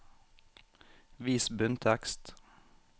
Vis bunntekst